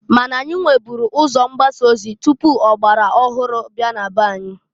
Ma na anyị nweburu ụzọ mgbasa ozi tupu ya bụ ọgbara ọhụrụ abịa na-be anyị.